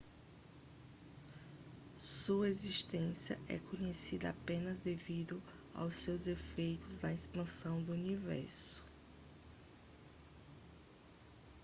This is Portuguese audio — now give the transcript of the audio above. sua existência é conhecida apenas devido aos seus efeitos na expansão do universo